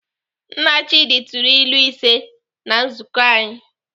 Nna Chidi tụrụ ilu ise na nzukọ anyị.